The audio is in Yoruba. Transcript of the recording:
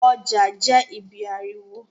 Ọjà jẹ́ ibí ariwo